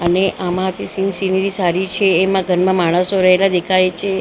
અને આમાં જે સીન સીનરી સારી છે. એમાં ઘરમાં માણસો રહેલા દેખાય છે દૂર દૂર --